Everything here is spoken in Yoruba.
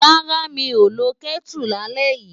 Rárá, mi ò lo Kẹ́tù lálẹ́ yìí.